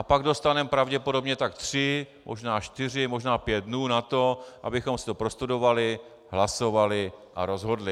A pak dostaneme pravděpodobně tak tři, možná čtyři, možná pět dnů na to, abychom si to prostudovali, hlasovali a rozhodli.